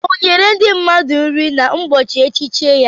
O nyere ndị mmadụ nri n'ụbọchị echichi ya?